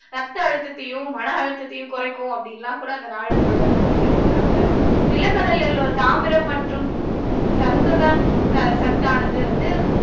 ரத்த அழுத்தத்தையும் மன அழுத்தத்தையும் குறைக்கும் அப்படின்னு எல்லாம் கூட அந்த நாளிதழ்ல குறிப்பிட்டிருந்தாங்க நிலக்கடலையில தாமிரம் மற்றும் சந்துண ச சத்தானது வந்து